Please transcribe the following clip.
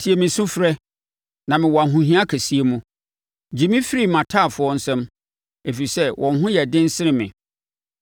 Tie me sufrɛ, na mewɔ ahohia kɛseɛ mu; gye me firi mʼataafoɔ nsam, ɛfiri sɛ wɔn ho yɛ den sene me.